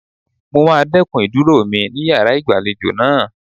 Mo máa dẹ́kun ìdúró mi ní yàrá ìgbàlejò náà.